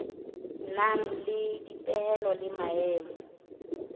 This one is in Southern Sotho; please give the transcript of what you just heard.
nang le dipehelo le maemo